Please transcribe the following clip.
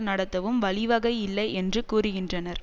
நடத்தவும் வழிவகை இல்லை என்று கூறுகின்றனர்